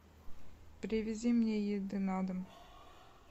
привези мне еды на дом